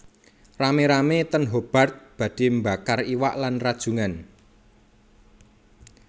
Rame rame ten Hobart badhe mbakar iwak lan rajungan